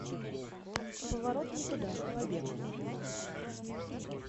поворот не туда побег